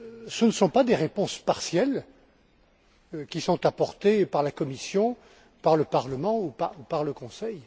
ce ne sont pas des réponses partielles qui sont apportées par la Commission, par le Parlement ou par le Conseil.